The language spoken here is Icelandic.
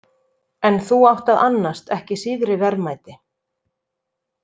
En þú átt að annast ekki síðri verðmæti.